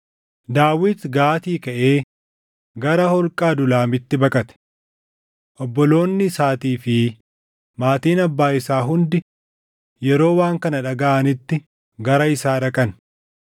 Daawit Gaatii kaʼee gara holqa Adulaamitti baqate. Obboloonni isaatii fi maatiin abbaa isaa hundi yeroo waan kana dhagaʼanitti gara isaa dhaqan.